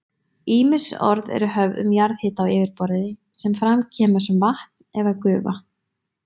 Ýmis orð eru höfð um jarðhita á yfirborði sem fram kemur sem vatn eða gufa.